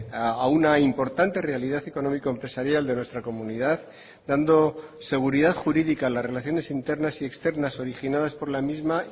a una importante realidad económico empresarial de nuestra comunidad dando seguridad jurídica a las relaciones internas y externas originadas por la misma